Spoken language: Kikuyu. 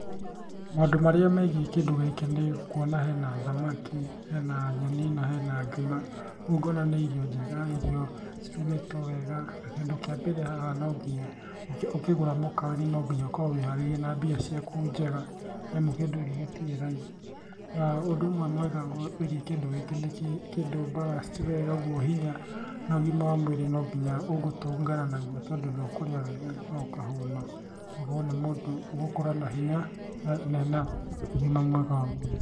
Maũndũ marĩa megiĩ kĩndũ gĩkĩ nĩ kuona hena thamaki, hena nyeni, na hena ngima. Rĩu ngona nĩ irio njega irio cirugĩtwo wega. Na kĩndũ kĩa mbere haha nonginya ũkĩgũra mũkawa-inĩ nonginya ũkorwo wĩharĩirie na mbia ciaku njega, nĩamu kĩndũ gĩkĩ gĩtiri raithi. Na ũndũ ũmwe mwega wĩgiĩ kĩndũ gĩkĩ nĩ kĩndũ balanced wega ũguo hinya na ũgima wa mwĩrĩ no nginya ũgũtũngana na guo tondũ nĩ ũkũrĩa wega na ũkahũna. Ũgakora nĩ mũndũ ũgũkorwo na hinya na ena ũgima mwega wa mwĩrĩ.